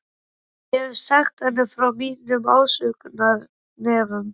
Ég hef sagt henni frá mínum ásökunarefnum.